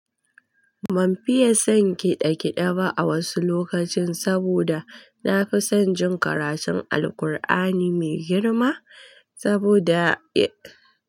Ban fiye son kiɗe kiɗe ba a wasu lokacin saboda na fi son jin karatun Alkur'ani mai girma saboda ya.